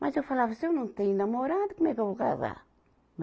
Mas eu falava, se eu não tenho namorado, como é que eu vou casar? né